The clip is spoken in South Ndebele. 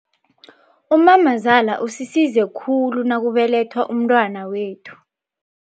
Umamazala usisize khulu nakubelethwa umntwana wethu.